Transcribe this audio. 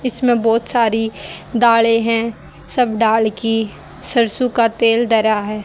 इसमें बहोत सारी डाले है सब डाल की सरसों का तेल धरा है।